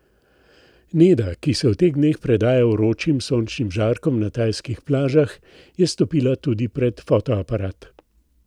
Neda, ki se v teh dneh predaja vročim sončnim žarkom na tajskih plažah, je stopila tudi pred fotoaparat.